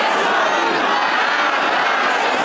Allahu Əkbər! Allahu Əkbər!